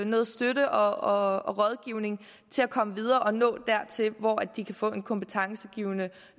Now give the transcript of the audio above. noget støtte og rådgivning til at komme videre og nå dertil hvor de kan få en kompetencegivende